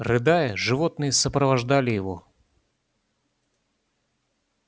рыдая животные сопровождали его